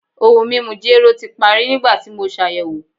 Ohun mimu jero ti pari nigbati mo ṣayẹwo